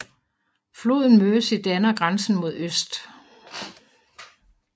Floden Mersey danner grænsen mod øst